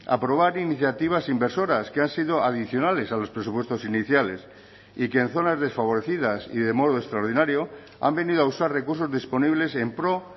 aprobar iniciativas inversoras que han sido adicionales a los presupuestos iniciales y que en zonas desfavorecidas y de modo extraordinario han venido a usar recursos disponibles en pro